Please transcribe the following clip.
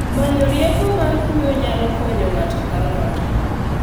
Manyo rieko mar kuyo nyalo konyo ng’ato ka ng’ato